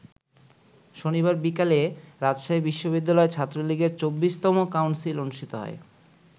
শনিবার বিকালে রাজশাহী বিশ্ববিদ্যালয় ছাত্রলীগের ২৪তম কাউন্সিল অনুষ্ঠিত হয়।